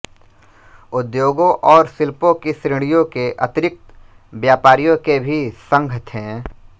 उद्योगों और शिल्पों की श्रेणियों के अतिरिक्त व्यापारियों के भी संघ थे